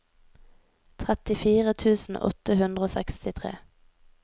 trettifire tusen åtte hundre og sekstitre